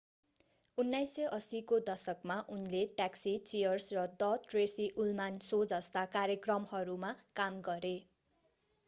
1980 को दशकमा उनले ट्याक्सी चीयर्स र the tracy ullman शो जस्ता कार्यक्रमहरूमा काम गरे